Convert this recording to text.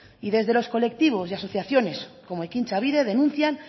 y desde los colectivos y asociaciones como ekintzabide denuncian